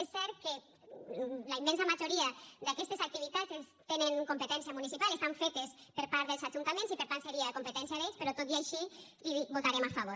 és cert que la immensa majoria d’aquestes activitats tenen competència municipal estan fetes per part dels ajuntaments i per tant seria competència d’ells però tot i així hi votarem a favor